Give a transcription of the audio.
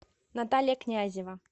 наталья князева